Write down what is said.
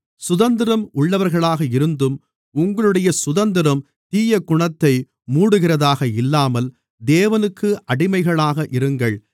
சுதந்திரம் உள்ளவர்களாக இருந்தும் உங்களுடைய சுதந்திரம் தீயகுணத்தை மூடுகிறதாக இல்லாமல் தேவனுக்கு அடிமைகளாக இருங்கள்